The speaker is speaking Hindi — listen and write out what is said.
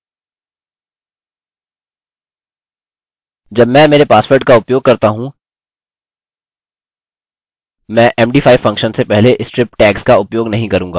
जब मैं मेरे पासवर्ड का उपयोग करता हूँ मैं md5 फंक्शन से पहले स्ट्रिप टैग्स का उपयोग नहीं करूँगा